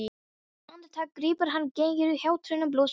Andartak grípur hana geigur, hjátrúin blossar upp.